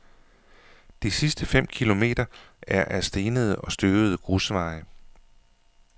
De sidste fem kilometer er ad stenede og støvede grusveje.